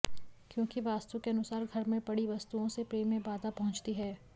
क्यों कि वास्तु के अनुसार घर में पड़ी वस्तुओं से प्रेम में बाधा पहुंचती है